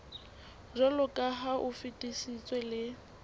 jwaloka ha o fetisitswe le